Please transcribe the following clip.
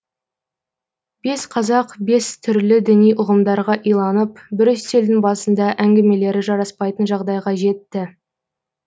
бес қазақ бес түрлі діни ұғымдарға иланып бір үстелдің басында әңгімелері жараспайтын жағдайға жетті